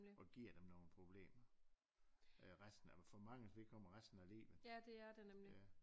Og giver dem nogle problemer øh resten af for manges vedkommende resten af livet